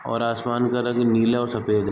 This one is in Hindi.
और आसमान का रंग नीला और सफेद है।